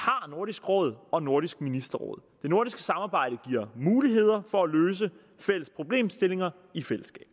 nordisk råd og nordisk ministerråd nordiske samarbejde giver muligheder for at løse fælles problemstillinger i fællesskab